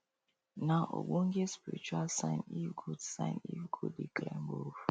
nah ogbonge spiritual sign if goat sign if goat dey climb roof